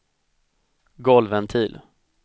golvventil